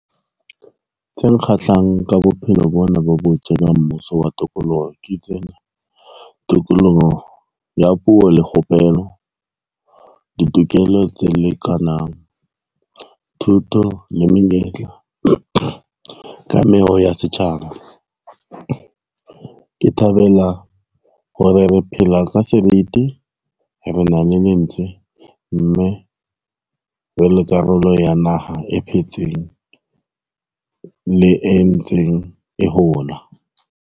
Tse nkgahlang ka bophelo bona bo bo mmuso wa tokoloho ke tsena, tokoloho ya puo le kgopelo, ditokelo tse lekanang, thuto le menyetla, kameho ya setjhaba. Ke thabela hore re phela ka seriti, re na le lentswe, mme re le karolo ya naha e phetseng le entseng e hola.